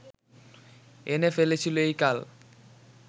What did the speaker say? এনে ফেলেছিল এই কাল